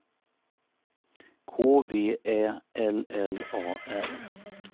K V Ä L L A R